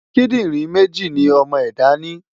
Kídìrín méjì ni ọmọ ẹ̀dá ni.